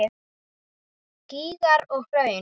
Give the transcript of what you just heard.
Gígar og hraun